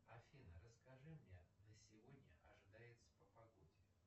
афина расскажи мне на сегодня ожидается по погоде